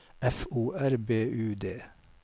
F O R B U D